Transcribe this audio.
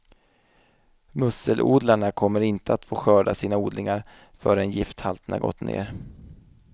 Musselodlarna kommer inte att få skörda sina odlingar förrän gifthalterna gått ner.